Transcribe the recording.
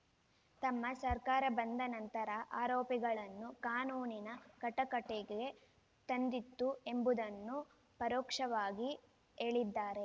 ತಮ್ಮ ಸರ್ಕಾರ ಬಂದ ನಂತರ ಆರೋಪಿಗಳನ್ನು ಕಾನೂನಿನ ಕಟಕಟೆಗೆ ತಂದಿತು ಎಂಬುದನ್ನು ಪರೋಕ್ಷವಾಗಿ ಹೇಳಿದ್ದಾರೆ